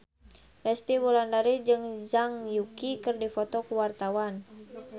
Resty Wulandari jeung Zhang Yuqi keur dipoto ku wartawan